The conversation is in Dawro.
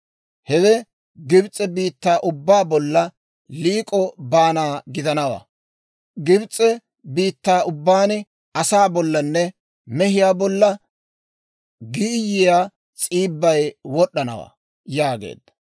hewe Gibs'e biittaa ubbaa bolla liik'o baana gidanawaa; Gibs'e biittaa ubbaan asaa bollanne mehiyaa bolla giiyyiyaa s'iibbay wod'd'anawaa» yaageedda.